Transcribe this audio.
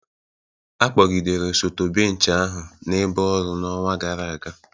a kpọgidere osote bench ahụ n'ebe ọrụ n'ọnwa gara aga